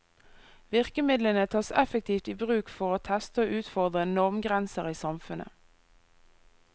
Virkemidlene tas effektivt i bruk for å teste og utfordre normgrenser i samfunnet.